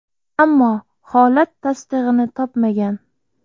Ammo holat tasdig‘ini topmagan.